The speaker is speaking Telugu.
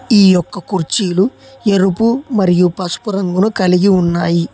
ఈ యొక్క కుర్చీలు ఎరుపు మరియు పసుపు రంగును కలిగి ఉన్నాయి.